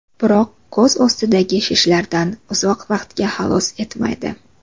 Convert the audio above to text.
Biroq ko‘z ostidagi shishlardan uzoq vaqtga xalos etmaydi.